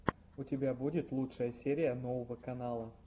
у тебя будет лучшая серия нового канала